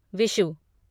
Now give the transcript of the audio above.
Vishu